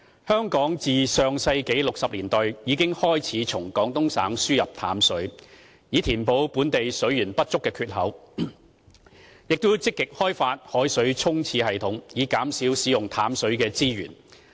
香港自上世紀60年代已開始從廣東省輸入淡水，以填補本地水源不足的缺口，並積極開發海水沖廁系統，以減少使用淡水資源。